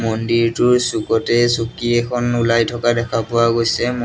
মন্দিৰটোৰ চুকতে চকী এখন ওলাই থকা দেখা পোৱা গৈছে মন--